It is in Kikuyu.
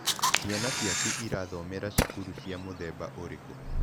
Ciana ciaku irathomera cukuru cia mũthemba ũrĩkũ?